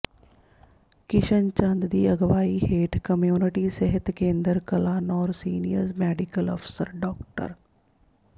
ਕਿਸ਼ਨ ਚੰਦ ਦੀ ਅਗਵਾਈ ਹੇਠ ਕਮਿਊਨਿਟੀ ਸਿਹਤ ਕੇਂਦਰ ਕਲਾਨੌਰ ਸੀਨੀਅਰ ਮੈਡੀਕਲ ਅਫਸਰ ਡਾ